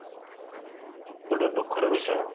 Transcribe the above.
ଗୋଟେ ଦୁଃଖ ର ବିଷୟ